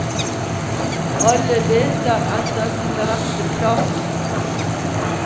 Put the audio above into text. Alle leter etter sin rette plass.